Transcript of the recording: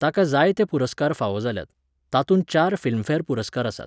ताका जायते पुरस्कार फावो जाल्यात, तातूंत चार फिल्मफॅर पुरस्कार आसात.